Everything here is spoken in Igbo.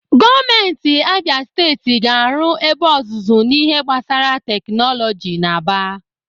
Gọọmenti Abịa Steeti ga-arụ ebe ọzụzụ n'ihe gbasara tekinọlọji n'Aba.